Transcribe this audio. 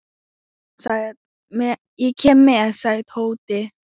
Ég kem með sagði Tóti.